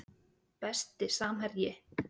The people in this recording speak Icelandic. Besti samherji?